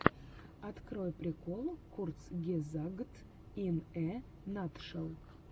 открой прикол курцгезагт ин э натшел